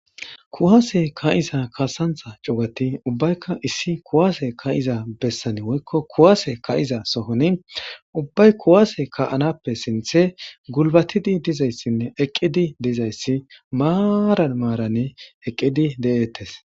Kuwase kaa7iza kaassancha cugati ubbayika kuwaase kaa7iza bessan woykko kuwase kaa7iza demban ubbay kuwase kaa7anappe sinthe eqqidi maaran maaran deettees.